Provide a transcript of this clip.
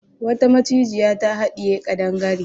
Wata macijiya ta haɗiye kadangare.